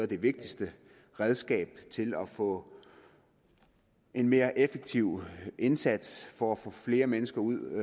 de vigtigste redskaber til at få en mere effektiv indsats for at få flere mennesker ud